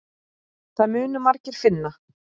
Það munu margir finna.